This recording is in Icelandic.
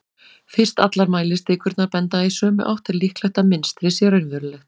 fyrst allar mælistikurnar benda í sömu átt er líklegt að mynstrið sé raunverulegt